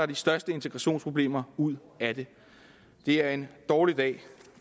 de største integrationsproblemer ud af det det er en dårlig dag